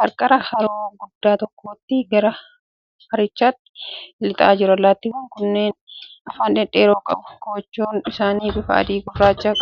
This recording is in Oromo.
qarqara haroo guddaa tokkootiin gara harichaatti lixaa jiru. Allaattiiwwan kunneen afaan dhedheeraa qabu. Kochoon isaanii bifa adii fi gurraacha qaba.